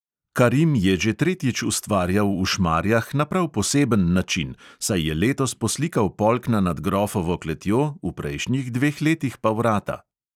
Karim je že tretjič ustvarjal v šmarjah na prav poseben način, saj je letos poslikal polkna nad grofovo kletjo, v prejšnjih dveh letih pa vrata.